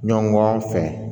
Ɲɔgɔn fɛ